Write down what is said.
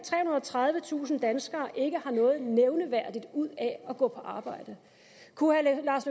og tredivetusind danskere ikke har noget nævneværdigt ud af at gå på arbejde kunne